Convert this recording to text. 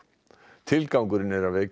tilgangurinn er að vekja